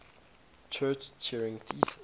church turing thesis